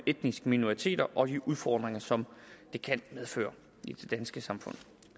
etniske minoriteter og de udfordringer som det kan medføre i det danske samfund